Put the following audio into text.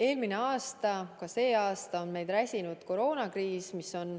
Eelmisel aastal ja sel aastal on meid räsinud koroonakriis, mis on